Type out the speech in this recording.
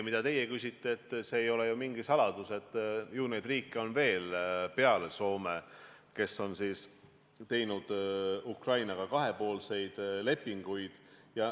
See ei ole ju mingi saladus, et neid riike on peale Soome veel, kes on teinud Ukrainaga kahepoolseid lepinguid.